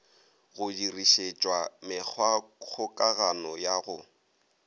go dirišetšwa mekgwakgokagano ya go